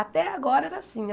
Até agora era assim.